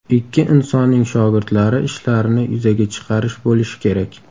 Ikki insonning shogirdlari ishlarini yuzaga chiqarish bo‘lishi kerak”.